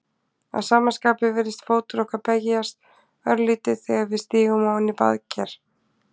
Að sama skapi virðist fótur okkar beygjast örlítið þegar við stígum ofan í baðker.